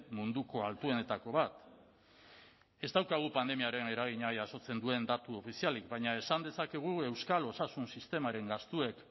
munduko altuenetako bat ez daukagu pandemiaren eragina jasotzen duen datu ofizialik baina esan dezakegu euskal osasun sistemaren gastuek